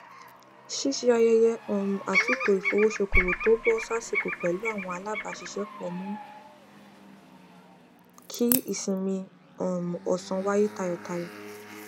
ṣíṣe ayẹyẹ um àtúntò ìfowósókowò tó bọ sásìkò pẹlú àwọn alábàáṣiṣẹpọ mu ki ìsinmi um ọsán waye tayọtayọ